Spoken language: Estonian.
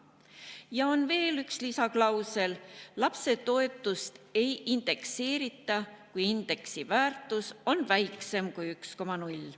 Ja on veel üks lisaklausel: lapsetoetust ei indekseerita, kui indeksi väärtus on väiksem kui 1,0.